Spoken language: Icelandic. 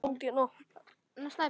Ég naut þess sem fleiri.